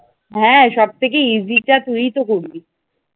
হ্যাঁ সব থেকে easy টা তুইতো করবি ।